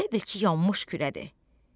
Elə bil ki, yanmış kürədir.